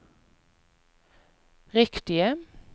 riktige